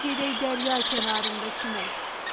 Dur gedək dərya kənarında çimmək.